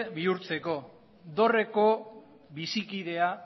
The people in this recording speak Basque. bihurtzeko dorreko bizikidea